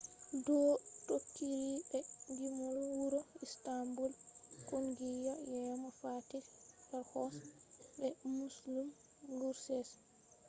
do tokkiri be gimol wuro istanbul kungiya yeemo fatih erkoç be müslüm gürses